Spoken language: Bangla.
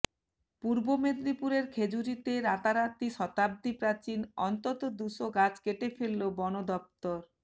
পূর্ব মেদিনীপুরের খেজুরিতে রাতারাতি শতাব্দীপ্রাচীন অন্তত দুশো গাছ কেটে ফেলল বন দফতর